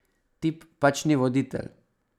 Tip pač ni voditelj.